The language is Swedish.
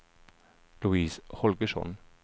Louise Holgersson